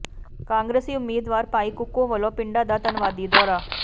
ਕਾਂਗਰਸੀ ਉਮੀਦਵਾਰ ਭਾਈ ਕੁੱਕੂ ਵੱਲੋਂ ਪਿੰਡਾਂ ਦਾ ਧੰਨਵਾਦੀ ਦੌਰਾ